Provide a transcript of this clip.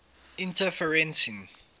interferencing